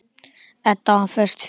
Edda var föst fyrir.